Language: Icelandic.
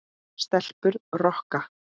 Stelpur rokka!